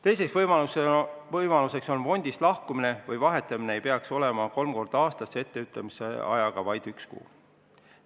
Teine võimalus on fondist lahkumine või fondi vahetamine, mis on praegu lubatud kolm korda aastas etteütlemisajaga vaid üks kuu.